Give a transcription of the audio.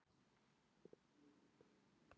Hvenær er höfuðdagur?